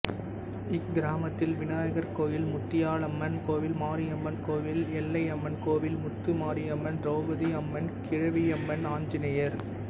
இக்கிராமத்தில் விநாயகர் கோயில் முத்தியாலம்மன் கோவில் மாரியம்மன் கோவில் எல்லையம்மன் கோவில்முத்து மாரியம்மன் திரௌபதி அம்மன் கிழவியம்மன் ஆஞ்சநேயர்